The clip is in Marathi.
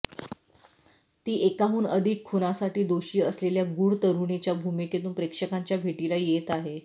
ती एकाहुन अधिक खुनासाठी दोषी असलेल्या गूढ तरुणीच्या भूमीकेतून प्रेक्षकांच्या भेटीला येत आहे